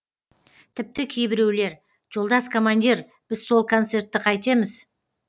тіпті кейбіреулер жолдас командир біз сол концертті қайтеміз